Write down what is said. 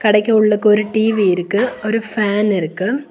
கடைக்குள்ளக்கு ஒரு டி_வி இருக்கு ஒரு ஃபேன் இருக்கு.